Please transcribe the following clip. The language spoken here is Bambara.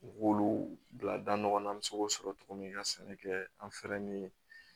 U b'olu bila da ɲɔgɔn na an bɛ se k'o sɔrɔ cogo min ka sɛnɛ kɛ an fɛ yen